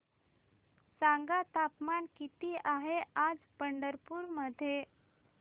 सांगा तापमान किती आहे आज पंढरपूर मध्ये